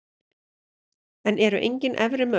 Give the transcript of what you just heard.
En eru engin efri mörk?